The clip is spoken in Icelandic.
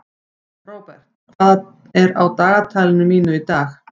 Robert, hvað er á dagatalinu mínu í dag?